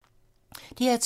DR2